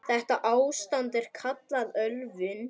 Þetta ástand er kallað ölvun.